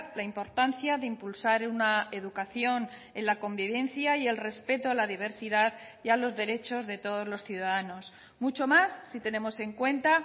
la importancia de impulsar una educación en la convivencia y el respeto a la diversidad y a los derechos de todos los ciudadanos mucho más si tenemos en cuenta